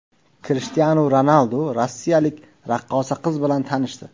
Krishtianu Ronaldu rossiyalik raqqosa qiz bilan tanishdi.